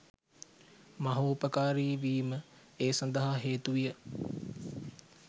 මහෝපකාරී වීම ඒ සඳහා හේතුවිය